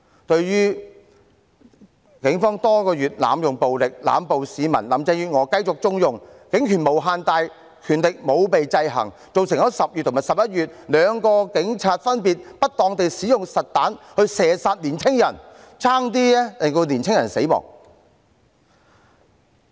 對於警方多個月來濫用暴力、濫捕市民，林鄭月娥繼續縱容，警權無限大，權力沒有被制衡，造成在10月和11月有兩名警員分別不當地使用實彈射殺年青人，險些令年青人死亡。